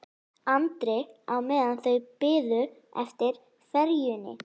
Andri á meðan þau biðu eftir ferjunni.